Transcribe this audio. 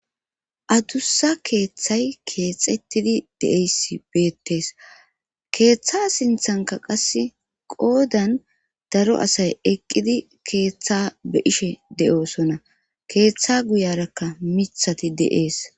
adussa keeththay keexettidi de7eysi beettees keeththa sinthanka qasse qoodan daro asay eqqidi keeththa be ishe de7osonna keeththa guyarakka mithati de7ees